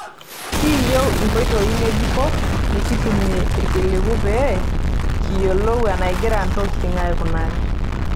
Ekiyieu inkotoi ng'ejuko nikitumie ilkiliku pee kiyiolou enagira ntokitin aikunari .